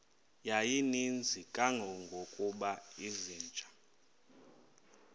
yayininzi kangangokuba izinja